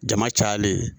Jama cayalen